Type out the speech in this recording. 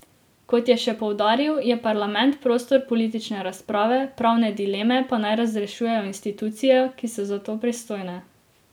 Kot je še poudaril, je parlament prostor politične razprave, pravne dileme pa naj razrešujejo institucije, ki so za to pristojne.